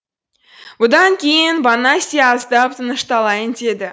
бұдан кейін бонасье аздап тынышталайын деді